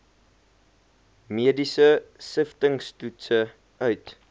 mediese siftingstoetse uit